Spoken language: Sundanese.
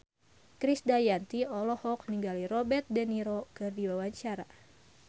Krisdayanti olohok ningali Robert de Niro keur diwawancara